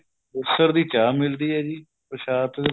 ਦੀ ਚਾਹ ਮਿਲਦੀ ਹੈ ਜੀ ਪ੍ਰਸ਼ਾਦ